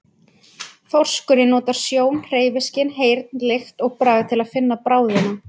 Þorskurinn notar sjón, hreyfiskyn, heyrn, lykt og bragð til að finna bráðina.